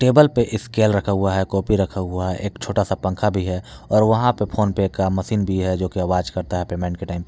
Table पे scale रखा हुआ है कॉपी रखा हुआ है एक छोटा सा पंखा भी है और वहां पे फोनपे का मशीन भी है जो की आवाज करता है पेमेंट के टाइम पे।